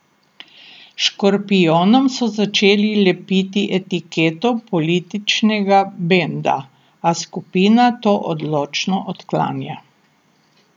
Škorpijonom so začeli lepiti etiketo političnega benda, a skupina to odločno odklanja.